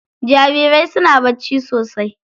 Jarirai suna bacci sosai.